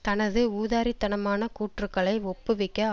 தனது ஊதாரித்தனமான கூற்றுக்களை ஒப்புவிக்க